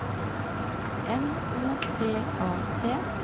N O T A T